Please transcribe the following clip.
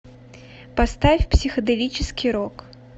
поставь психоделический рок